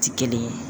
Ti kelen ye